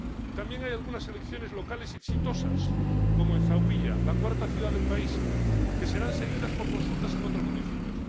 También hay algunas elecciones locales exitosas como en Zauiya, la cuarta ciudad del país, que serán seguidas por consultas en otros municipios.